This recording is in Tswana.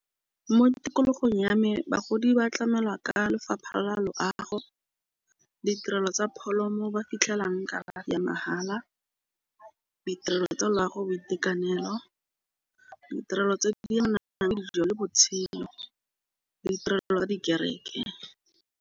Mo tikologong ya me bagodi ba tlamelwa ka lefapha la loago. Ditirelo tsa pholo mo ba fitlhelang kalafi ya mahala ditirelo tsa loago boitekanelo ditirelo tse di nang le dijo le botshelo le ditirelo dikereke.